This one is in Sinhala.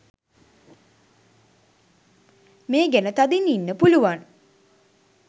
මේ ගැන තදින් ඉන්න පුලුවන්